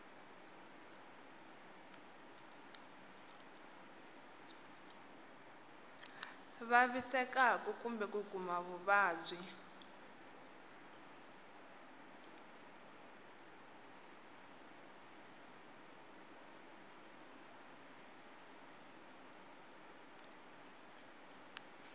vavisekaku kumbe ku kuma vuvabyi